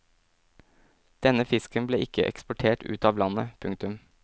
Denne fisken ble ikke eksportert ut av landet. punktum